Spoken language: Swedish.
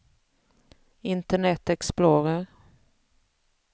internet explorer